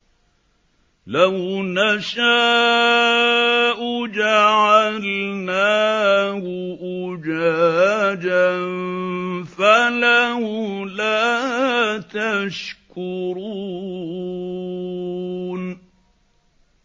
لَوْ نَشَاءُ جَعَلْنَاهُ أُجَاجًا فَلَوْلَا تَشْكُرُونَ